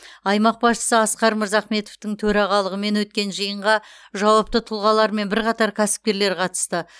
аймақ басшысы асқар мырзахметовтың төрағалығымен өткен жиынға жауапты тұлғалар мен бірқатар кәсіпкерлер қатысты